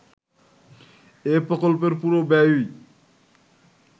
এ প্রকল্পের পুরো ব্যয়ই